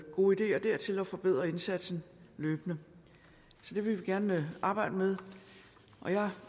gode ideer dertil og forbedre indsatsen løbende så det vil vi gerne arbejde med jeg